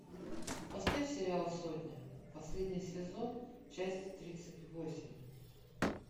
поставь сериал сотня последний сезон часть тридцать восемь